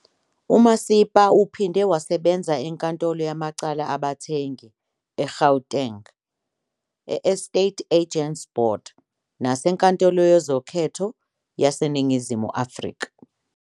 UMasipa uphinde wasebenza enkantolo yamacala abathengi eGauteng, Estate Agents Board, naseNkantolo Yezokhetho yaseNingizimu Afrika.